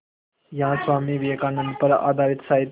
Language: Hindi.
यहाँ स्वामी विवेकानंद पर आधारित साहित्य